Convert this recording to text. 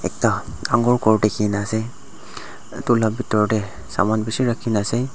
ekta dangor ghor dikhi ne ase etu la pitor te saman bishi rakhi ne ase.